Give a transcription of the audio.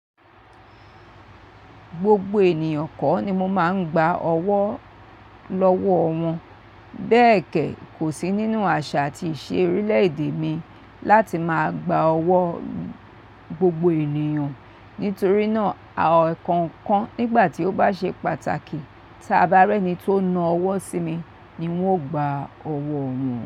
Gbogbo ènìyàn kọ́ ni mo máa ń gba ọwọ́ lọ́wọ́ wọn. Bẹ́ẹ̀ kẹ́, kò sí nínú àṣà àti ìṣe orílẹ̀-èdè mi láti máa gba ọwọ́ gbogbo ènìyàn. Nítorí náà, ẹ̀ẹ̀kankan nígbà tí ó bá ṣe pàtàkì, tí a bá rí ẹni tí ó ń na ọwọ́ sí mi, ni n ó gba ọwọ́ rẹ̀.